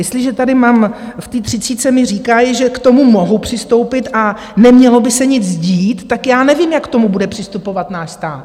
Jestliže tady mám, v té třicítce mi říkají, že k tomu mohu přistoupit a nemělo by se nic dít, tak já nevím, jak k tomu bude přistupovat náš stát.